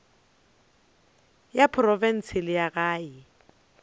ya profense le ya gae